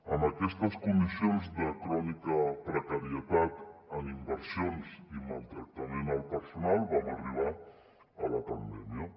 amb aquestes condicions de crònica precarietat en inversions i maltractament al personal vam arribar a la pandèmia